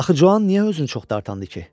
Axı Cuan niyə özünü çox dartandı ki?